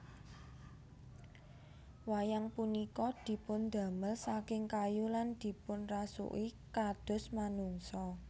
Wayang punika dipundamel saking kayu lan dipunrasuki kados manungsa